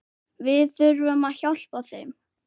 Við þurfum að hjálpa þeim.